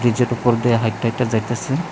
এই জেটোর ওপর দিয়ে হাঁইট্যা হাঁইট্যা যাইতাসে।